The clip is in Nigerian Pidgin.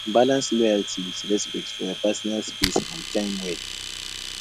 balance loyalty with respect for your personal space and time well